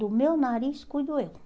Do meu nariz cuido eu.